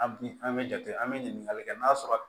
An bi an be jate an be ɲininkali kɛ n'a sɔrɔ